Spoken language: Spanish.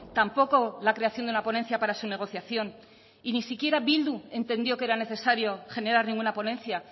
tampoco la creación de una ponencia para su negociación y ni siquiera bildu entendió que era necesario generar ninguna ponencia